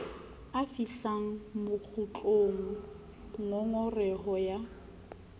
a fihlang bokgutlong ngongoreho ya